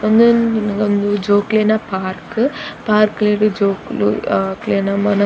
ಉಂದೊಂಜಿ ಜೋಕ್ಲೆನ ಪಾರ್ಕ್ ಪಾರ್ಕ್ಲೆಗ್ ಜೋಕುಲು ಅಕ್ಲೆನ ಅಹ್ ಮನ --